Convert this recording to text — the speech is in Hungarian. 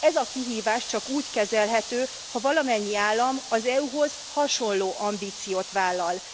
Ez a kihívás csak úgy kezelhető, ha valamennyi állam az EU hoz hasonló ambíciót vállal.